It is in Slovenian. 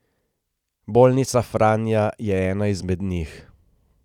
Bolnica Franja je ena izmed njih.